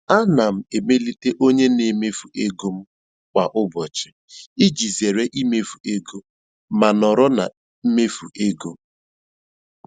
Ana m emelite onye na-emefu ego m kwa ụbọchị iji zere imefu ego ma nọrọ na mmefu ego.